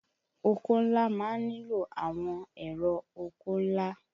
Oko ńlá má ń nílò àwọn ẹ̀rọ oko ńlá